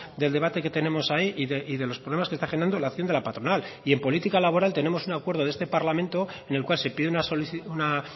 del debate que tenemos ahí y de los problemas que está generando la acción de la patronal y en política laboral tenemos un acuerdo de este parlamento en el cual se pide una